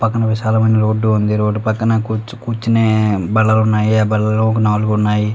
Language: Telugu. పక్కన విశాలమైన రోడ్ ఉంది రోడ్ పక్కన కూర్చునే బల్లలు ఉన్నాయి ఆ బల్లలు ఒక నాలుగు ఉన్నాయి .